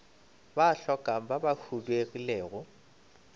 ba hlokang ba ba huduegilego